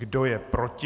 Kdo je proti?